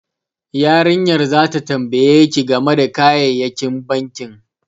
Yarinyar zata tambaye ki game da kayayyakin bankin